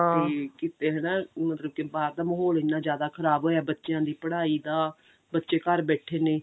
ਤੇ ਕਿਤੇ ਹਨਾ ਬਾਹਰ ਦਾ ਮਹੋਲ ਇੰਨਾ ਜਿਆਦਾ ਖਰਾਬ ਹੋਇਆ ਬੱਚਿਆਂ ਦੀ ਪੜ੍ਹਾਈ ਦਾ ਬੱਚੇ ਘਰ ਬੈਠੇ ਨੇ